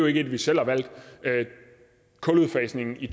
ikke et vi selv har valgt kuludfasningen i